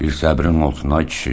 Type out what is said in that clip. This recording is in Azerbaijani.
Bir səbrin olsun, ay kişi.